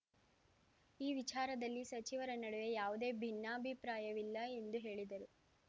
ಈ ವಿಚಾರದಲ್ಲಿ ಸಚಿವರ ನಡುವೆ ಯಾವುದೇ ಭಿನ್ನಾಭಿಪ್ರಾಯವಿಲ್ಲ ಎಂದು ಹೇಳಿದರು